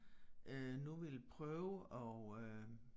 Øh nu ville prøve at øh